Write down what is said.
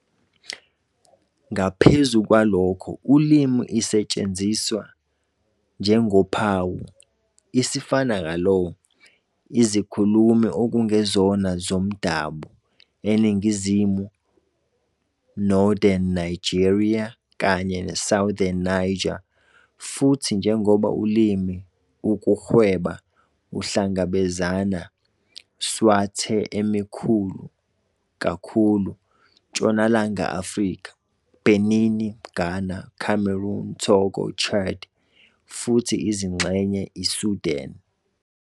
Ngaphezu kwalokho, ulimi isetshenziswa njengophawu "isifanakalo" izikhulumi okungezona bomdabu e iningi Northern Nigeria kanye Southern Niger, futhi njengoba ulimi ukuhweba uhlangabezana Swathe emikhulu kakhulu Ntshonalanga Afrika, Benin, Ghana, Cameroon, Togo, Chad futhi izingxenye ISudan.